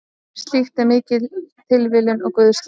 Slíkt er mikil tilviljun og guðslán.